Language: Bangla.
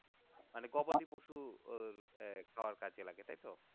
মানে গবাদিপশুর খাবার কাজে লাগে তাই তো?